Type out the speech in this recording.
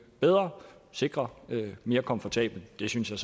bedre sikrere og mere komfortabel det synes jeg